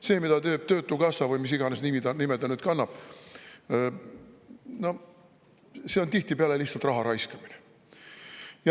See, mida teeb töötukassa, või mis iganes nime ta nüüd kannab, on tihtipeale lihtsalt raha raiskamine.